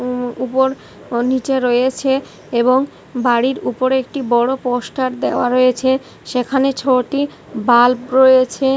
উম উপর ও নিচে রয়েছে এবং বাড়ির উপরে একটি বড়ো পোস্টার দেওয়া রয়েছে সেখানে ছটি বাল্ব রয়েছে।